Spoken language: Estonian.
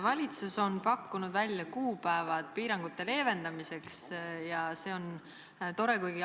Valitsus on pakkunud välja kuupäevad piirangute leevendamiseks ja see on tore.